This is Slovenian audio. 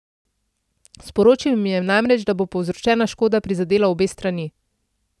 Sporočil jim je namreč, da bo povzročena škoda prizadela obe strani.